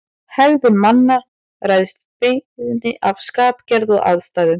Hegðun manna ræðst bæði af skapgerð og aðstæðum.